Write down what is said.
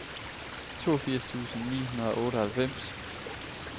toogfirs tusind ni hundrede og otteoghalvfems